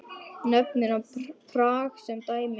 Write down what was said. Nefnir hann Prag sem dæmi.